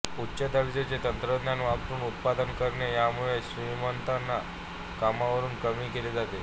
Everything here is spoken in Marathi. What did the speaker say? उच्च दर्जाचे तंत्रज्ञान वापरून उत्पादन करणे यामुळे श्रमिकांना कामावरून कमी केले जाते